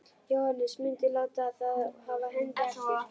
Jóhannes: Muntu láta þá af hendi aftur?